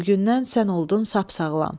Bu gündən sən oldun sap sağlam.